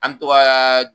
An to ka